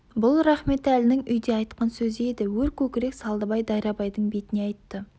бұл рахметәлінің үйде айтқан сөзі еді өр көкірек салдыбай дайрабайдың бетіне айтты